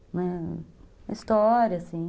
Uma história, assim.